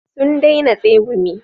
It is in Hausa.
Sun daina tsegumi